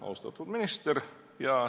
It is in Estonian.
Austatud minister!